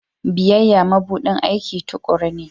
Biyayya mabuɗin aiki tuƙuru ne.